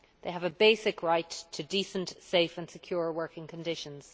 They have a basic right to decent, safe and secure working conditions.